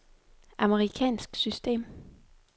amerikansk system